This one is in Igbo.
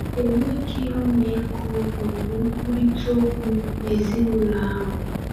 Enweghị ọmịiko ma ọ bụ nkwurịta okwu n’ezinụlọ ahụ.